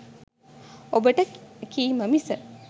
ඔබට කීම මිස